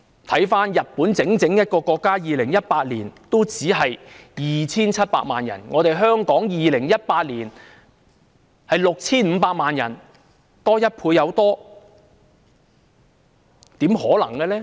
看看日本這個國家 ，2018 年只有 2,700 萬遊客，但同年，香港卻有 6,500 萬遊客，比日本多超過1倍。